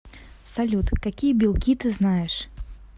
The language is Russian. салют какие белки ты знаешь